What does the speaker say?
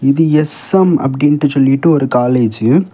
இது எஸ்_எம் அப்படின்ட்டு சொல்லிட்டு ஒரு காலேஜ் .